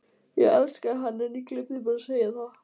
Ég elskaði hann en ég gleymdi bara að segja það.